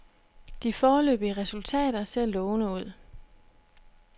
De foreløbige resultater ser lovende ud.